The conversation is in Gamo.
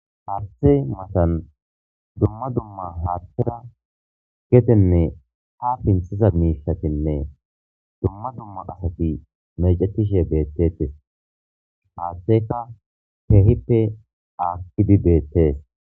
Haarthe matan dumma dumma haattera gedenne ha pinthiza miishatinne dumma dumma asati mecetishe beettetes haaththeka teehippe aakkidi beettees.